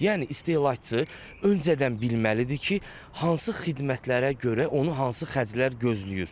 Yəni istehlakçı öncədən bilməlidir ki, hansı xidmətlərə görə onu hansı xərclər gözləyir.